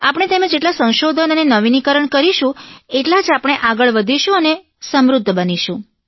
આપણે તેમાં જેટલાં સંશોધન અને નવીનીકરણ કરીશું એટલાં જ આપણે આગળ વધીશું અને સમૃધ્ધ બનીશું